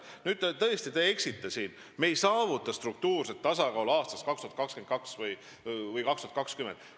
Nüüd, te tõesti eksite – me ei saavuta struktuurset tasakaalu aastaks 2022 või 2020.